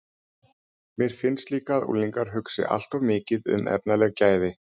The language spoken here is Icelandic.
Mér finnst líka að unglingar hugsi allt of mikið um efnaleg gæði.